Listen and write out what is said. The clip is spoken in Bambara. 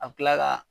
A bɛ tila ka